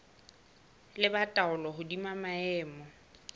ba le taolo hodima maemo